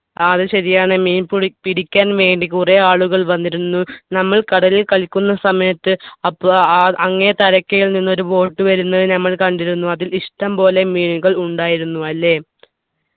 ആ അത് ശരിയാണ് മീൻ പുടി പിടിക്കാൻ വേണ്ടി കുറെ ആളുകൾ വന്നിരുന്നു നമ്മൾ കടലിൽ കളിക്കുന്ന സമയത്ത് അപ്പോ അഹ് ആ അങ്ങേ തലക്കേൽ നിന്ന് ഒരു boat വരുന്നത് നമ്മൾ കണ്ടിരുന്നു അതിൽ ഇഷ്ട്ടം പോലെ മീനുകൾ ഉണ്ടായിരുന്നു അല്ലെ